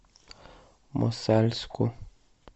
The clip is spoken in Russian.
мосальску